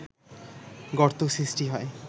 গর্ত সৃষ্টি হয়